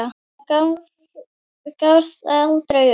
Hún gafst aldrei upp.